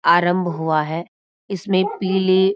आरंभ हुआ है इसमें पीले --